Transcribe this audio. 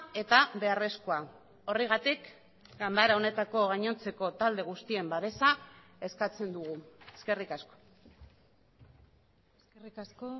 eta beharrezkoa horregatik ganbara honetako gainontzeko talde guztien babesa eskatzen dugu eskerrik asko eskerrik asko